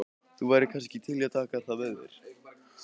Þú værir kannski til í að taka það að þér?